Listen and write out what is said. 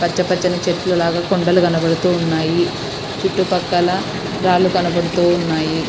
పచ్చ పచ్చని చెట్టు లాగా కొండలు కనబడుతూ ఉన్నాయి. చుట్టుపక్కల రాళ్లు కనబడుతూ ఉన్నాయి.